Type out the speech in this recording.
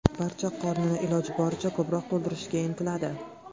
Barcha qornini iloji boricha ko‘proq to‘ldirishga intiladi.